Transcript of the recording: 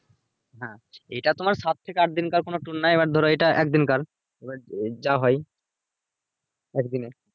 হ্যাঁ এটা তোমার সাত থেকে আট দিনকার কোনো tour না এবার ধরো এটা এক দিনকার এবার যা হয় একদিনে